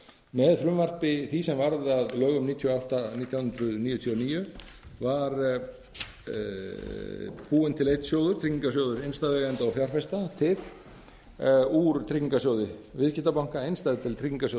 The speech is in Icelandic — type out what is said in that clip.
með frumvarpi því sem varð að lögum númer níutíu og átta nítján hundruð níutíu og níu var búinn til einn sjóður tryggingarsjóð innstæðueigenda og fjárfesta úr tryggingarsjóði viðskiptabanka innstæðudeild tryggingarsjóðs